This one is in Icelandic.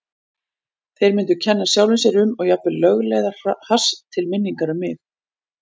Þeir myndu kenna sjálfum sér um og jafnvel lögleiða hass til minningar um mig.